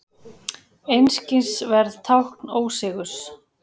Einskisverð tákn ósigurs.